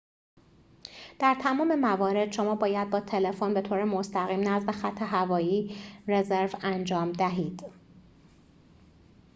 در تمام موارد شما باید با تلفن بطور مستقیم نزد خط هوایی رزرو انجام دهید